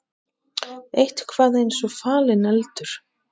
Eitthvað er eins og falinn eldur